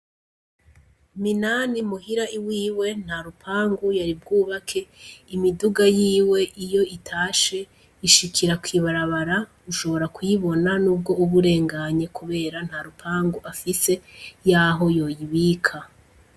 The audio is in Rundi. Minani muhira iwiwe nta rupangu yari bwubake imiduga yiwe iyo itashe ishikira kw' ibarabara ushobora kuyibona nubwo uba urenganye kubera nta rupangu afise yaho yoyibika.